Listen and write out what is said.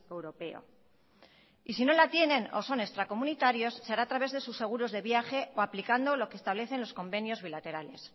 europeo y si no la tienen o son extracomunitarios se hará a través de sus seguros de viajes o aplicando lo que establecen los convenios bilaterales